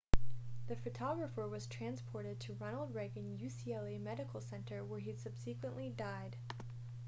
the photographer was transported to ronald reagan ucla medical center where he subsequently died